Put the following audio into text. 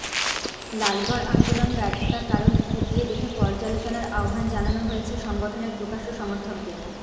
লালগড় আন্দোলন ব্যর্থতার কারন খতিয়ে দেখে পর্যালোচনার আহ্বান জানানো হয়েছে সংগঠনের প্রকাশ্য সমর্থকদের